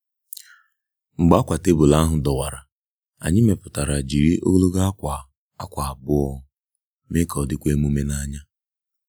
Mgbe akwa tebụl ahụ dọwara, anyị meputara jiri ogologo akwa akwa abụọ mee ka ọ dịkwa emume n'anya.